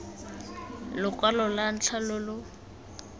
lokwalo lwa ntlha lo lo